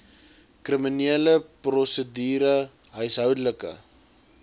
kriminele prosedure huishoudelike